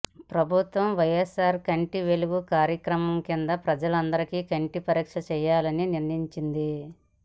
ప్రభుత్వం వైఎస్సార్ కంటి వెలుగు కార్యక్రమం కింద ప్రజలందరికి కంటి పరీక్షలు చేయాలని నిర్ణయించి ంది